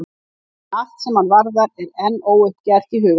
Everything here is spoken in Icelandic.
Ég finn að allt sem hann varðar er enn óuppgert í huga mínum.